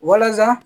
Walasa